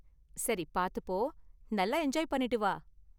சரி, பாத்து போ. நல்லா என்ஜாய் பண்ணிட்டு வா.